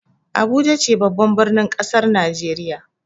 Abuja ce babban birnin kasar Najeriya.